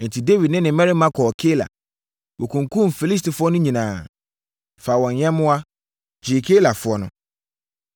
Enti, Dawid ne ne mmarima kɔɔ Keila. Wɔkunkumm Filistifoɔ no nyinaa, faa wɔn nyɛmmoa, gyee Keilafoɔ no.